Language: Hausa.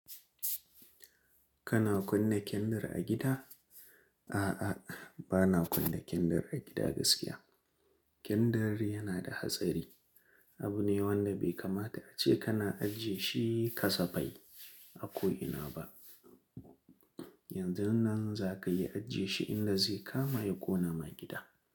Kana kunna kandir a gida? A'a, bana kunna kandir a gida gaskiya. Kindir yana da hatsari. Abu ne wanda bai kamata ace kana ajiye shi kasa fai a ko ina ba. Yanzun nan za ka iya ajiye shi inda zai kama ya ƙona ma gida.